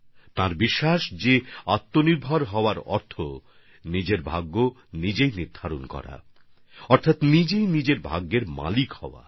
তিনি মনে করেন আত্মনির্ভর হওয়ার অর্থ হচ্ছে নিজের ভাগ্যের সিদ্ধান্ত নিজেই নেওয়া অর্থাৎ স্বয়ং নিজের ভাগ্যের নিয়ন্ত্রক হওয়া